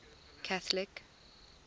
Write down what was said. catholic